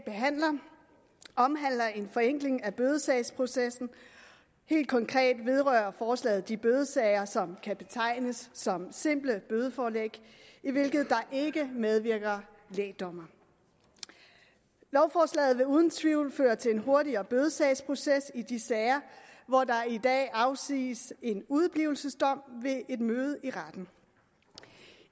omhandler en forenkling af bødesagsprocessen helt konkret vedrører forslaget de bødesager som kan betegnes som simple bødeforelæg i hvilke der ikke medvirker lægdommere lovforslaget vil uden tvivl føre til en hurtigere bødesagsproces i de sager hvor der i dag afsiges en udeblivelsesdom ved et møde i retten